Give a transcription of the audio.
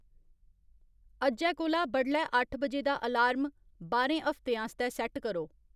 अज्जै कोला बडलै अट्ठ बजे दा अलार्म बाह्रें हफ्तें आस्तै सैट्ट करो